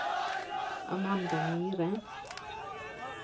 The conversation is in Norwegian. Amanda Myhre